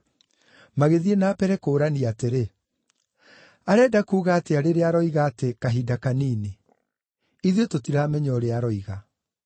Magĩthiĩ na mbere kũũrania atĩrĩ, “Arenda kuuga atĩa rĩrĩa aroiga atĩ, ‘Kahinda kanini’? Ithuĩ tũtiramenya ũrĩa aroiga.”